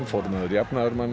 formaður jafnaðarmanna